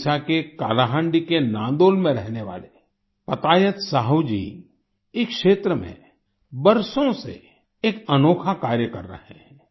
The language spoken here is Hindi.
ओडिशा के कालाहांडी के नांदोल में रहने वाले पतायत साहू जी इस क्षेत्र में बरसों से एक अनोखा कार्य कर रहे हैं